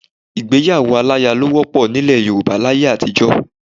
Ìgbéyàwó aláya ló wọ́pọ̀ nílẹ̀ Yorùbá láyé àtijọ́.